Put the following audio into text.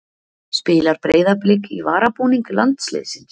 Spilar Breiðablik í varabúning landsliðsins?